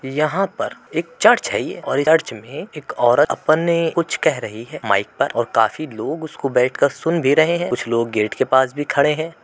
यहा पर एक चर्च है। ये और चर्च में एक औरत अपने कुछ कह रही है। माइक पर काफी लोग उसको बैठ कर सुन भी रहे है। कुछ लोग गेट के पास भी खड़े है।